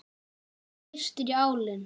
Það syrtir í álinn.